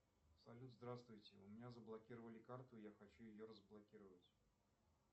салют здравствуйте у меня заблокировали карту я хочу ее разблокировать